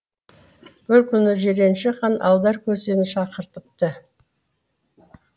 бір күні жиренше хан алдар көсені шақыртыпты